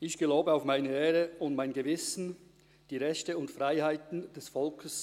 – Ich gebe dem Generalsekretär das Wort.